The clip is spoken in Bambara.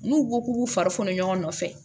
N'u ko k'u b'u fari foni ɲɔgɔn nɔfɛ